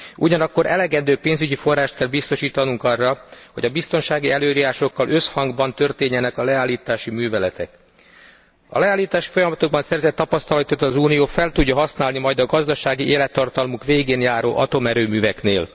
Ugyanakkor elegendő pénzügyi forrást kell biztosítanunk arra, hogy a biztonsági előírásokkal összhangban történjenek a leállítási műveletek. A leállítási folyamatokban szerzett tapasztalatokat az Unió fel tudja használni majd a gazdasági élettartamuk végén járó atomerőműveknél.